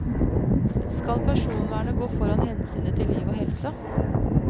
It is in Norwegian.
Skal personvernet gå foran hensynet til liv og helse?